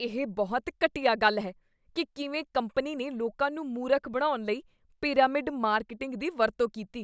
ਇਹ ਬਹੁਤ ਘਟੀਆ ਗੱਲ ਹੈ ਕੀ ਕਿਵੇਂ ਕੰਪਨੀ ਨੇ ਲੋਕਾਂ ਨੂੰ ਮੂਰਖ ਬਣਾਉਣ ਲਈ ਪਿਰਾਮਿਡ ਮਾਰਕੀਟਿੰਗ ਦੀ ਵਰਤੋਂ ਕੀਤੀ।